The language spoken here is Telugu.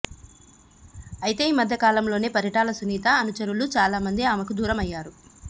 అయితే ఈమధ్య కాలంలోనే పరిటాల సునీత అనుచరులు చాలామంది ఆమెకు దూరం అయ్యారు